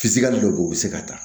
Fisiga dɔ bɛ yen u bɛ se ka taa